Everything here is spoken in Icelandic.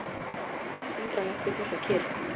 Það var eitthvað undarlegt við þessa kyrrð.